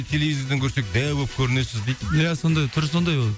телевизордан көрсек дәу болып көрінесіз дейді иә сондай түрі сондай ол